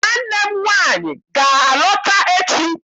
Nwanne m nwaanyị ga-alata echi.